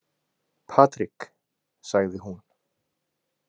Patrik, sagði hún.